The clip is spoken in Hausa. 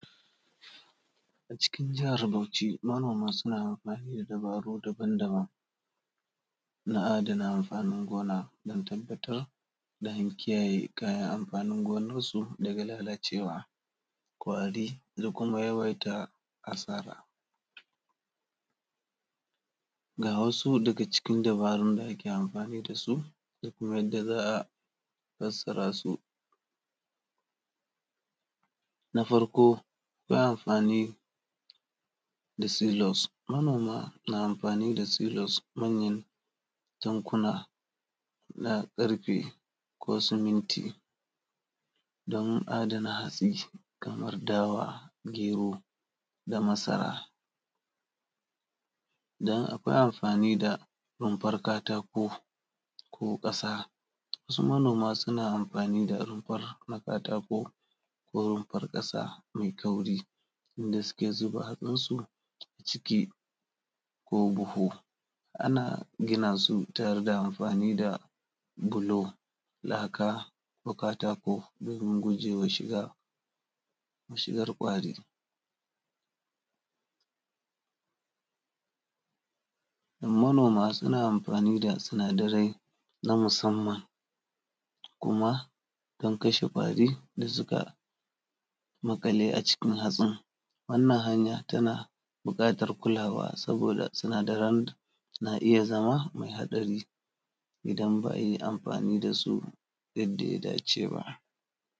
Acikin jahar Bauchi manoma suna amfani da dabaru daban-daban na adana amfanin gona don tabbatar, don kiyaye kayan amfanin gonansu daga lalacewa, ƙwari da kuma yawaita asara. Ga wasu daga cikin dabarun da ake amfani da su da kuma yadda za a battsara su. Na farko za a amfani da silos, manoma na silos, manyan tankuna na ƙarfe ko suminti don adana hatsi kamar dawa, gero da masara. Don akwai amfani da rumfar katako, ko ƙasa, wasu manoma suna amfani da rumfar na katako ko rumfar ƙasa mai kauri wanda suke zuba hatsinsu aciki ko buhu. Ana gina su ta hanyar amfani da bulo, laka ko katako domin gujewa shiga, shigar ƙwari. Manoma suna amfani da sinadarai na musamman kuma don kashe ƙwari da suka maƙale acikin hatsin, wannan hanya tana buƙatar kulawa saboda sinadaran na iya zama mai haɗari idan ba a yi amfani da su yadda ya dace ba.